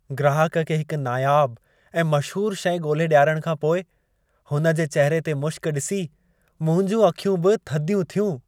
ग्राहक खे हिक नायाबु ऐं मशहूर शइ ॻोल्हे ॾियारण खां पोइ, हुन जे चहिरे ते मुश्क ॾिसी, मुंहिंजूं अखियूं बि थधियूं थियूं।